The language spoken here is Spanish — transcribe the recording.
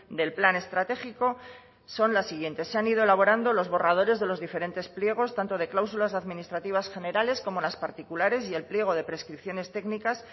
del plan estratégico son las siguientes se han ido elaborando los borradores de los diferentes pliegos tanto de cláusulas administrativas generales como las particulares y el pliego de prescripciones técnicas